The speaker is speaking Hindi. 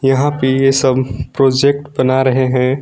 यहां पे सब प्रोजेक्ट बना रहे हैं।